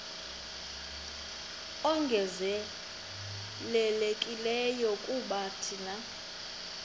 ongezelelekileyo kuba thina